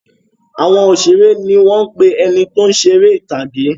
Àwọn òṣèré ni wọ́n ń pè ẹni tí ó ń ṣe eré ìtàgè